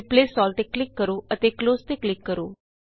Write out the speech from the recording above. replace all ਤੇ click ਕਰੋ ਅਤੇ ਕਲੋਜ਼ ਤੇ ਕਲਿਕ ਕਰੋ